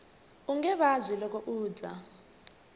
unge vabyi loko u dya